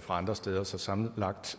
fra andre steder så sammenlagt